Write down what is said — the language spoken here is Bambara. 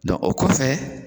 o kɔfɛ